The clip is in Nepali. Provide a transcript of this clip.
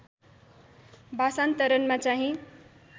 भाषान्तरणमा चाहिँ